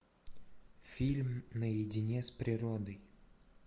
фильм наедине с природой